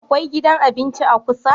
Akwai gidan abinci kusa?